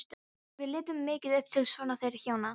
Við litum mikið upp til sona þeirra hjóna.